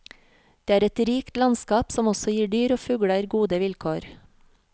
Det er et rikt landskap, som også gir dyr og fugler gode vilkår.